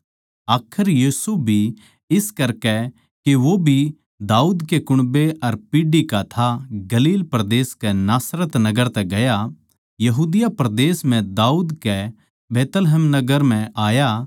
आखर यूसुफ भी इस करकै के वो भी दाऊद कै कुण्बै अर पीढ़ी का था गलील परदेस कै नासरत नगर तै यहूदिया परदेस म्ह दाऊद कै बैतलहम नगर म्ह गया